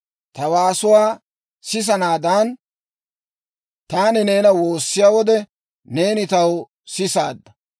Ta waasuwaa sisanaadaan taani neena woossiyaa wode, neeni taw sisaadda.